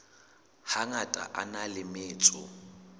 hangata a na le metso